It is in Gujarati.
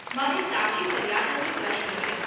મારે તાજી ફરિયાદ અંગે પ્રશ્ન છે.